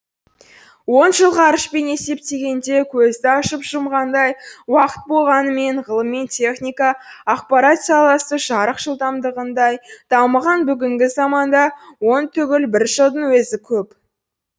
он жыл ғарышпен есептегенде көзді ашып жұмғандай уақыт болғанымен ғылым мен техника ақпарат саласы жарық жылдамдығындай дамыған бүгінгі заманда он түгіл бір жылдың өзі көп